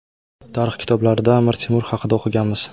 Tarix kitoblarida Amir Temur haqida o‘qiganmiz.